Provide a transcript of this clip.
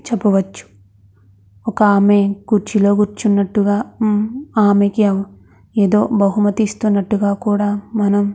ఒక ఆమె కుర్చిల కుర్చు ఉంటూ గ ఆమెకి బహిమతి ఇస్తునాటు గ ఉంది.